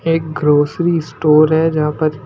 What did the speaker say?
एक grocery store है जहां पर--